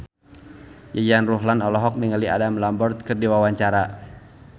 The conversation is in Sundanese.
Yayan Ruhlan olohok ningali Adam Lambert keur diwawancara